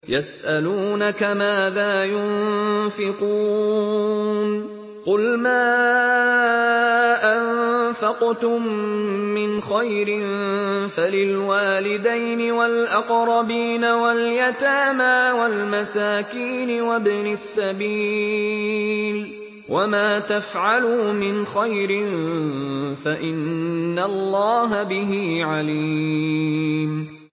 يَسْأَلُونَكَ مَاذَا يُنفِقُونَ ۖ قُلْ مَا أَنفَقْتُم مِّنْ خَيْرٍ فَلِلْوَالِدَيْنِ وَالْأَقْرَبِينَ وَالْيَتَامَىٰ وَالْمَسَاكِينِ وَابْنِ السَّبِيلِ ۗ وَمَا تَفْعَلُوا مِنْ خَيْرٍ فَإِنَّ اللَّهَ بِهِ عَلِيمٌ